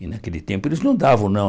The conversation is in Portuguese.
E naquele tempo eles não davam, não.